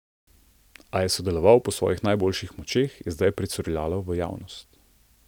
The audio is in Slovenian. A je sodeloval po svojih najboljših močeh, je zdaj pricurljalo v javnost.